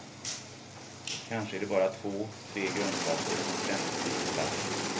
Kanske är det bara två, tre grundsatser som ständigt byter plats.